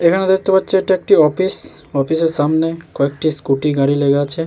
এখানে দেখতে পাচ্ছি এটা একটি অফিস অফিসের সামনে কয়েকটি স্কুটি গাড়ি লেগে আছে।